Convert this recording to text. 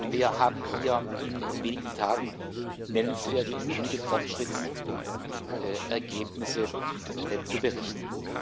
Wir haben Ihnen hier in wenigen Tagen nennenswerte und gute Fortschrittsergebnisse zu berichten.